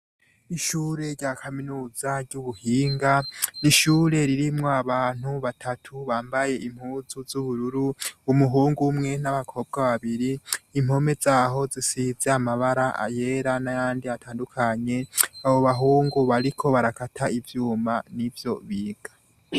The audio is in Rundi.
Ishure rya kaminuza ry'ubuhinga rishure ririmwo abantu batatu bambaye impuzu z'ubururu umuhungu 'umwe n'abakobwa babiri impome zaho zisiza amabara ayera na yandi atandukanye abo bahungu bariko barakata ivyuma ni vyo biga.